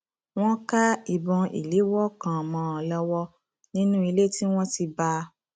wọn ká ìbọn ìléwọ kan mọ ọn lọwọ nínú ilé tí wọn ti bá a